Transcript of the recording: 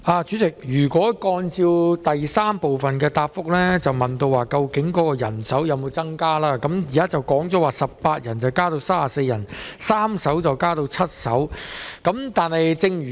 主席，主體答覆第三部分問及人手有否增加，而當局的回應是人手由18人增加至34人，船隻數目亦由3艘增至7艘。